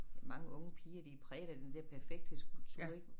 Mange unge piger de er præget af den der perfekthedskultur ik